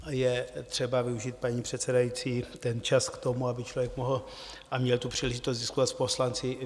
Je třeba využít, paní předsedající, ten čas k tomu, aby člověk mohl a měl tu příležitost diskutovat s poslanci.